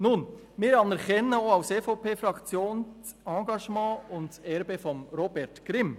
Nun: Wir anerkennen auch als EVP-Fraktion das Engagement und das Erbe von Robert Grimm.